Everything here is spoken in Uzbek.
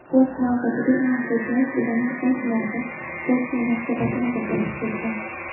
O‘z navbatida Imomxo‘jayev ularning ayrimlariga o‘z munosabatini bildirib kelgan.